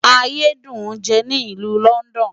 Ayé dùn ń jẹ ní ìlú London.